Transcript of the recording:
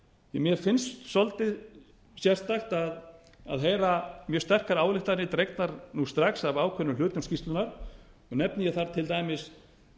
að mér finnst svolítið sérstakt að heyra mjög sterkar ályktanir dregnar nú strax af ákveðnum hlutum skýrslunnar og nefni ég þar til dæmis